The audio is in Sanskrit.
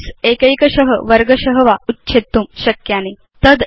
शीट्स् एकैकश वर्गश वा उच्छेत्तुं शक्यानि